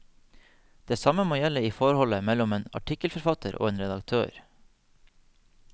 Det samme må gjelde i forholdet mellom en artikkelforfatter og en redaktør.